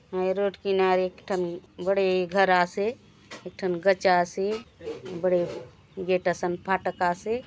ए road किनारे एक ठन बड़े घर आसे एक ठन गच आसे बड़े गेट असन फ़ाटक आसे ।